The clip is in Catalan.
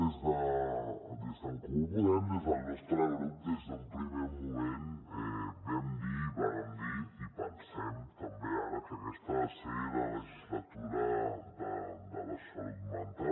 des d’en comú podem des del nostre grup des d’un primer moment vam dir vàrem dir i pensem també ara que aquesta ha de ser la legislatura de la salut mental